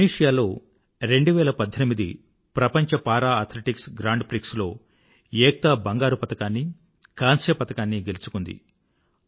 Tunisia లో ప్రపంచ para athletics grand prix 2018లో ఏక్తా బంగారు పతకాన్నీ కాంస్య పతకాన్నీ గెలుచుకుంది